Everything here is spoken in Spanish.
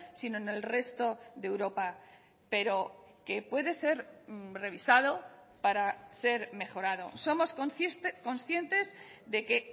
sino en el resto de europa pero que puede ser revisado para ser mejorado somos conscientes de que